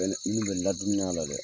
Bɛ na i bena n ladumuni a la dɛ!